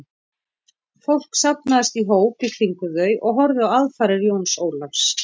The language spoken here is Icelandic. Fólk safnaðist í hóp í kringum þau og horfði á aðfarir Jóns Ólafs.